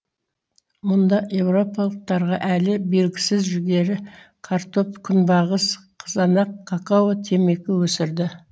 мұнда еуропалықтарға әлі белгісіз жүгері картоп күнбағыс қызанақ какао темекі өсірді